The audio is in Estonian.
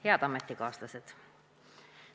Head ametikaaslased!